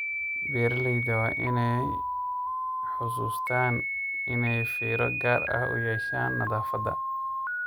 Beeralayda waa inay xusuustaan ??inay fiiro gaar ah u yeeshaan nadaafadda.